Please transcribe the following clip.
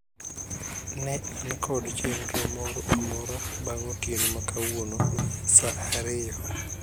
Ne an kod chenro moro amora bang'e otieno makawuono saa ariyo